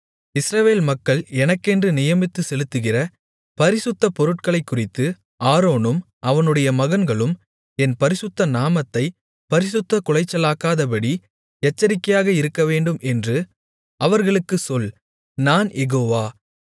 இஸ்ரவேல் மக்கள் எனக்கென்று நியமித்துச் செலுத்துகிற பரிசுத்தப் பொருட்களைக்குறித்து ஆரோனும் அவனுடைய மகன்களும் என் பரிசுத்த நாமத்தைப் பரிசுத்தக் குலைச்சலாக்காதபடி எச்சரிக்கையாக இருக்கவேண்டும் என்று அவர்களுக்குச் சொல் நான் யெகோவா